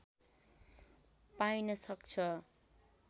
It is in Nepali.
पाइन सक्छ